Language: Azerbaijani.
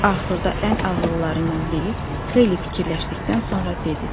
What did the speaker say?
Axırda ən ağıllılarından biri xeyli fikirləşdikdən sonra dedi.